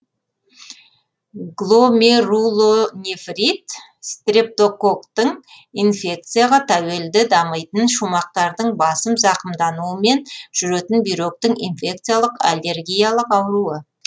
гломерулонефрит стрептококтың инфекцияға тәуелді дамитын шумақтардың басым зақымдануымен жүретін бүйректің инфекциялық аллергиялық ауруы